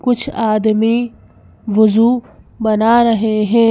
कुछ आदमी वुजूबना रहे हैं।